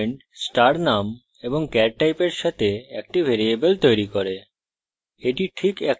এই statement star name এবং char টাইপের সাথে একটি ভ্যারিয়েবল তৈরী করে